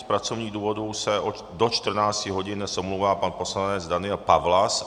Z pracovních důvodů se do 14 hodin omlouvá pan poslanec Daniel Pawlas.